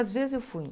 Às vezes, eu fui.